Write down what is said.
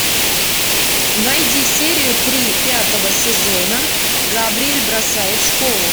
найди серию три пятого сезона габриэль бросает школу